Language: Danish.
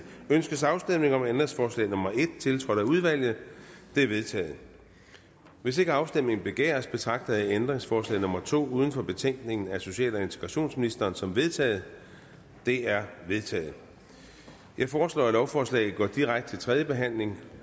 ønskes afstemning om ændringsforslag nummer en tiltrådt af udvalget det er vedtaget hvis ikke afstemning begæres betragter jeg ændringsforslag nummer to uden for betænkningen af social og integrationsministeren som vedtaget det er vedtaget jeg foreslår at lovforslaget går direkte til tredje behandling